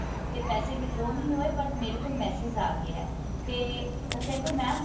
ਤੇ ਪੈਸੇ withdraw ਨਹੀਂ ਹੋਏ but ਮੇਰੇ ਕੋਲ message ਆ ਗਿਆ ਤੇ ਉਹ ਕਹਿੰਦੇ mam